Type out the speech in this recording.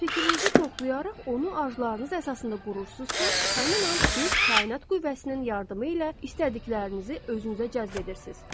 Fikrinizi toplayaraq onu arzularınız əsasında qurursunuzsa, həmin an siz kainat qüvvəsinin yardımı ilə istədiklərinizi özünüzə cəzb edirsiniz.